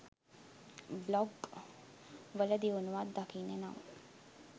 blog වල දියුණුවක් දකින්න නම්